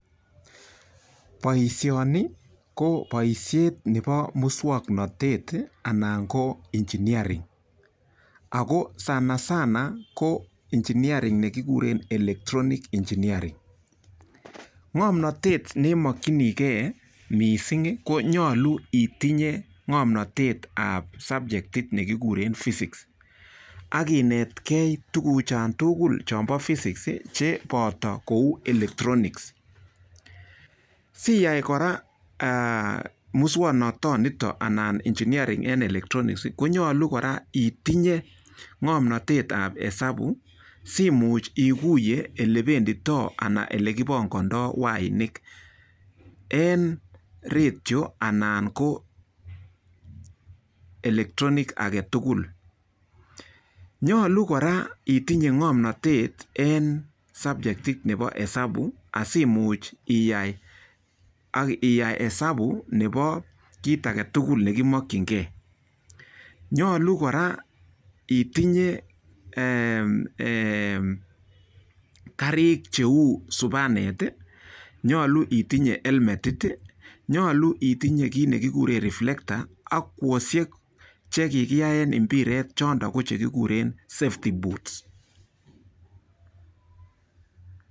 Boishoni ko boishet nebo muswoknotet anan ko engineering. Ako sana sana ko engineering ne kiguren electronics engineering. Ng'omnotet neimokchinigei mising konyolu itinye ng'omnotet ab subjectit nekigure phisics. Akinetgei tukuchontugul chebo physics cheboto cheu electronics. Siyai kora muswoknatonitok anan engineering eng electronics konyolu itinye ng'omnotetab esabu simuch iguiye ole penditoi wainik eng radio anan ko electronic agetugul. Nyolu kora itinye ng'omnotet en subjectit nebo esabu asimuch iyai esabu nebo kit age tugul nekimochingei. Nyolu kora itinye karik cheu supanet, nyolu itinye helmetit, nyolu itinye kit nekigure reflector kwoshek che kikiyae mpiret chottok ko chekigure safety boots.